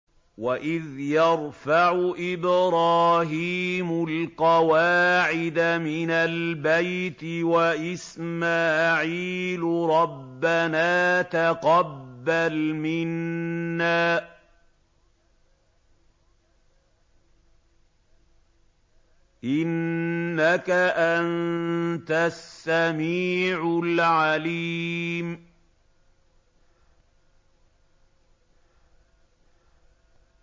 وَإِذْ يَرْفَعُ إِبْرَاهِيمُ الْقَوَاعِدَ مِنَ الْبَيْتِ وَإِسْمَاعِيلُ رَبَّنَا تَقَبَّلْ مِنَّا ۖ إِنَّكَ أَنتَ السَّمِيعُ الْعَلِيمُ